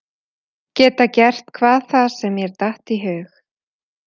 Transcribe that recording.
Geta gert hvað það sem mér datt í hug.